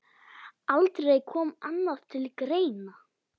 Aldrei kom annað til greina.